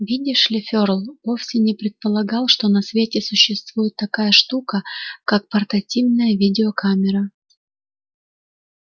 видишь ли ферл вовсе не предполагал что на свете существует такая штука как портативная видеокамера